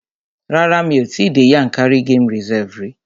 Rárá, mi ò tí dé Yankari game reserve rí.